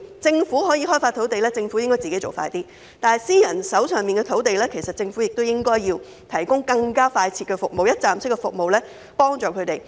政府可以開發土地，應該加快處理，但私人發展商手上的土地，政府亦應以更加快捷的一站式服務提供幫助。